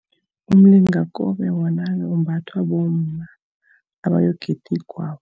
Umlingakobe wona umbathwa bomma, abayokugida igwabo.